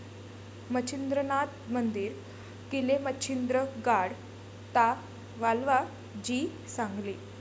मच्छिंद्रनाथ मंदिर, किलेमच्छिंद्र गाड, ता.वालवा, जी.सांगली